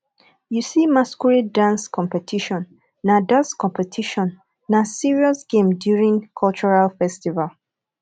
you see masquerade dance competition na dance competition na serious game during cultural festival